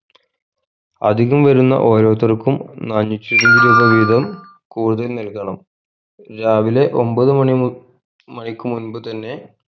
അധികം വരുന്ന ഓരോരുത്തർക്കും നാനൂറ്റി ഇരുപത് രൂപ വീതം കൂടുതൽ നൽകണം രാവിലെ ഒൻപത് മണി മു മണിക് മുൻപ് തന്നെ